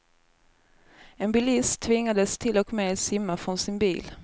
En bilist tvingades till och med simma från sin bil.